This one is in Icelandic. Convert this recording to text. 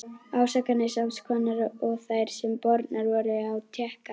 Ásakanir sams konar og þær, sem bornar voru á Tékka.